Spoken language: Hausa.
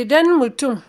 Idan mutum